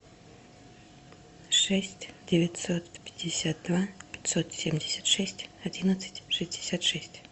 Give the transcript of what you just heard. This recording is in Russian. шесть девятьсот пятьдесят два пятьсот семьдесят шесть одиннадцать шестьдесят шесть